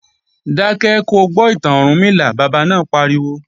Dákẹ́ ko gbọ́ ìtàn Ọ̀rúnmìlà, bàbá náà pariwo!